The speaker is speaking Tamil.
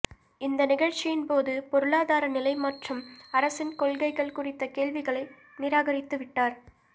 இந்த நிகழ்ச்சியின்போது பொருளாதார நிலை மற்றும் அரசின் கொள்கைகள் குறித்த கேள்விகளை நிராகரித்துவிட்டார்